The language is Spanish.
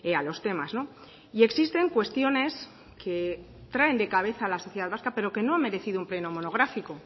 a los temas y existen cuestiones que traen de cabeza a la sociedad vasca pero que no ha merecido un pleno monográfico